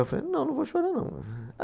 Eu falei, não, não vou chorar, não.